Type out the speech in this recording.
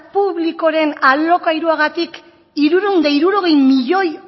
publikoaren alokairuagatik hirurehun eta hirurogei milioi